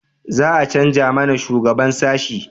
za a canja mana shugaban sashi?